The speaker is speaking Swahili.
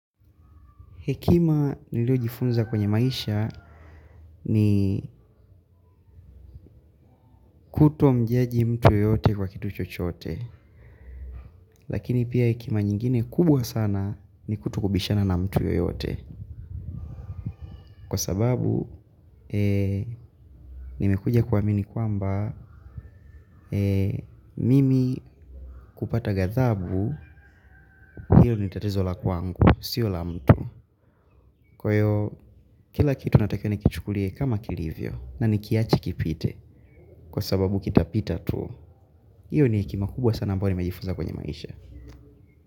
Hekima niliojifunza kwenye maisha ni kutomjaji mtu yoyote kwa kitu chochote. Lakini pia hekima nyingine kubwa sana ni kutokubishana na mtu yoyote. Kwa sababu, nimekuja kuamini kwamba, mimi kupata gathabu, hilo ni tatizo la kwangu, sio la mtu. Kwa ivo kila kitu natakika nikichukulie kama kilivyo na nikiache kipite kwa sababu kitapita tu. Iyo ni hekima kubwa sana ambayo nimejifunza kwenye maisha.